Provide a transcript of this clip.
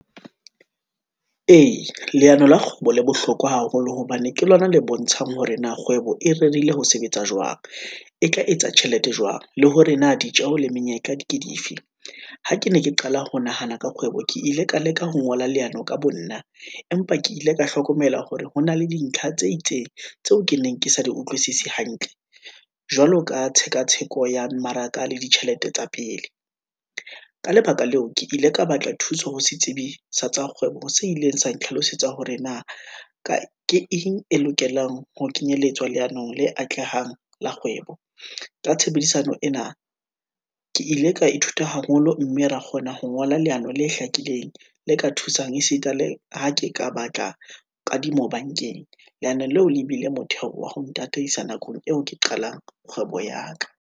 Ee, leano la kgwebo le bohlokwa haholo, hobane ke lona le bontshang hore na kgwebo e rerile ho sebetsa jwang, e ka etsa tjhelete jwang, le hore na ditjeho le menyetla di ke dife. Ha ke ne ke qala ho nahana ka kgwebo, ke ile ka leka ho ngola leano ka bo nna, empa ke ile ka hlokomela hore ho na le dintlha tse itseng, tseo ke neng ke sa di utlwisise hantle, jwalo ka tshekatsheko ya mmaraka le ditjhelete tsa pele. Ka lebaka leo, ke ile ka batla thuso ho se tsebisa tsa kgwebo, se ileng sa ntlhalosetsa hore na, ke eng e lokelang ho kenyelletswa leanong le atlehang la kgwebo, ka tshebedisano ena ke ile ka ithuta haholo, mme ra kgona ho ngola leano le hlakileng, le ka thusang esita le ha ke ka batla kadimo bankeng. Leano leo le ebile motheo wa ho ntataisa nakong eo ke qalang kgwebo ya ka.